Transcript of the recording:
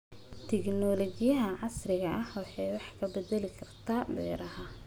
Tignoolajiyada casriga ahi waxa ay wax ka bedeli kartaa beeraha.